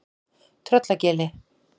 Tröllagili